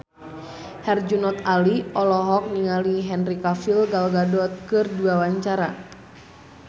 Herjunot Ali olohok ningali Henry Cavill Gal Gadot keur diwawancara